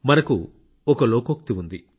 మనకు ఒక లోకోక్తి ఉంది